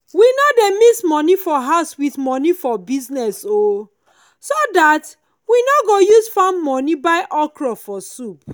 we no dey mix money for house with money for business o so that we no go use farm money buy okro for soup.